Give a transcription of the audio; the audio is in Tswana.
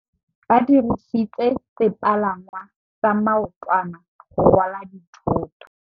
Ba dirisitse sepalangwasa maotwana go rwala dithôtô.